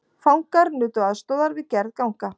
Fangar nutu aðstoðar við gerð ganga